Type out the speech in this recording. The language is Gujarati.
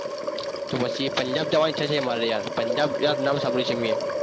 તો પછી પંજાબ જવા ની ઈચ્માછા છે મારે યાર પંજાબ મેં નામ સાંભળ્યું છે મેં